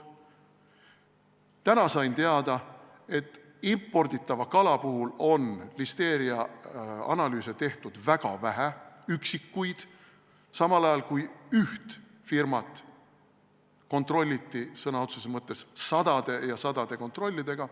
Täna sain teada, et imporditava kala puhul on listeeriaanalüüse tehtud väga vähe, üksikuid, samal ajal kui üht firmat kontrolliti sõna otseses mõttes sadade ja sadade kontrollidega.